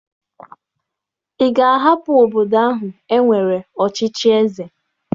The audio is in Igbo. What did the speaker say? Ị ga-ahapụ obodo ahụ e nwere ọchịchị eze!